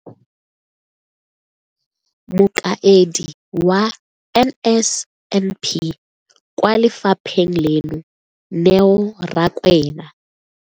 Mokaedi wa NSNP kwa lefapheng leno, Neo Rakwena,